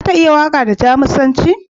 Za ta iya waƙa da Jamusanci?